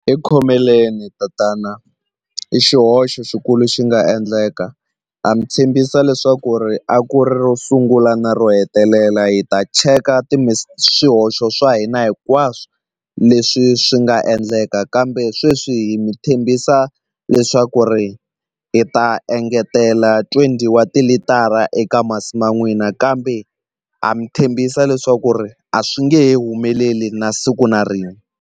Hi khomeleni tatana i xihoxo xikulu xi nga endleka ha mi tshembisa leswaku ri a ku ri ro sungula na ro hetelela hi ta cheka swihoxo swa hina hinkwaswo leswi swi nga endleka kambe sweswi hi mi tshembisa leswaku ri hi ta engetela twenty wa tilitara eka masi ma n'wina kambe ha mi tshembisa leswaku ri a swi nge humeleli na siku na rin'we.